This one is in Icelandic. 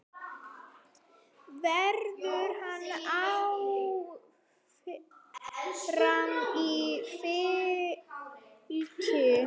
Verður hann áfram í Fylki?